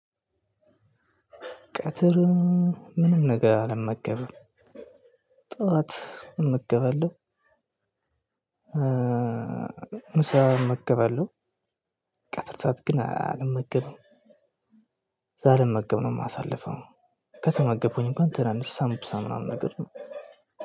ቀትር ምንም ነገር አልመገበም ጠዋት እመገባለሁ። ምሳ እመገባለሁ ቀጥርታት ግን አልመገብም ሳልመገብ ነው የማሳልፈው ከተመገብኩኝ እንኳን ትናንሽ ሳምቡሳ ነገር ነው።